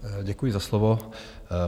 Děkuji za slovo.